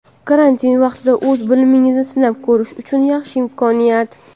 Karantin vaqtida o‘z bilimingizni sinab ko‘rish uchun yaxshi imkoniyat!.